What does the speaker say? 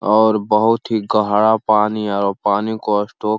और बोहोत ही गहरा पानी और पानी को स्टॉक --